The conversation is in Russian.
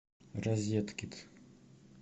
розеткед